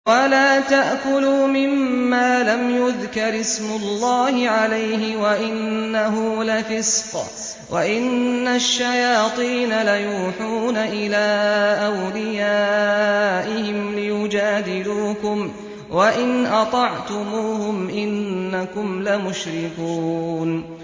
وَلَا تَأْكُلُوا مِمَّا لَمْ يُذْكَرِ اسْمُ اللَّهِ عَلَيْهِ وَإِنَّهُ لَفِسْقٌ ۗ وَإِنَّ الشَّيَاطِينَ لَيُوحُونَ إِلَىٰ أَوْلِيَائِهِمْ لِيُجَادِلُوكُمْ ۖ وَإِنْ أَطَعْتُمُوهُمْ إِنَّكُمْ لَمُشْرِكُونَ